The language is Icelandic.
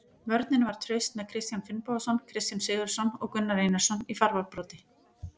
Vörnin var traust með Kristján Finnbogason, Kristján Sigurðsson og Gunnar Einarsson í fararbroddi.